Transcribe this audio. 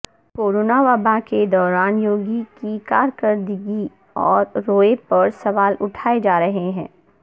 corona وبا کے دوران یوگی کی کارکردگی اور رویے پر سوال اٹھائے جا رہے ہیں